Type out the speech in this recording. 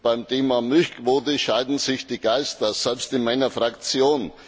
Beim Thema Milchquote scheiden sich die Geister, selbst in meiner Fraktion.